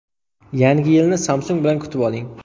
Yangi yilni Samsung bilan kutib oling!